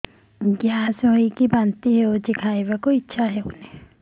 gas ହୋଇ ବାନ୍ତି ହଉଛି ଖାଇବାକୁ ଇଚ୍ଛା ହଉନି